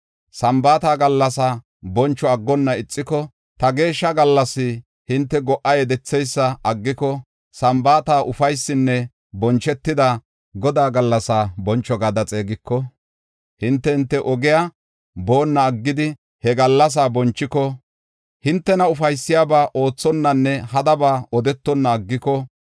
“Sambaata gallasaa boncho aggonna ixiko, ta geeshsha gallas hinte go77a yedetheysa aggiko, Sambaata ufaysinne bonchetida, Godaa gallasaa boncho gada xeegiko, hinte hinte ogiya boonna aggidi he gallasaa bonchiko, hintena ufaysiyabaa oothonnanne hadaba odetonna aggiko,